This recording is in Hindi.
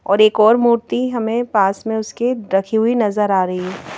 और एक और मूर्ति हमें पास में उसके रखी हुई नजर आ रही है।